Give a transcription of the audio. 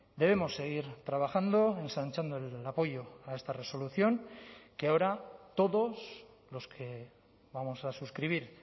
debemos seguir trabajando ensanchando el apoyo a esta resolución que ahora todos los que vamos a suscribir